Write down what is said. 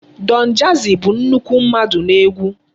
Donjazzy bụ nnukwu mmadụ n'egwu.